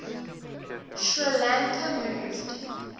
sri lanka moved